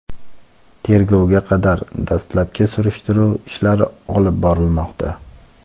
tergovga qadar dastlabki surishtiruv ishlari olib borilmoqda.